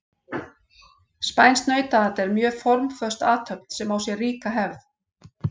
Spænskt nautaat er mjög formföst athöfn sem á sér ríka hefð.